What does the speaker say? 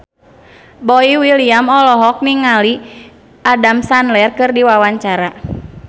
Boy William olohok ningali Adam Sandler keur diwawancara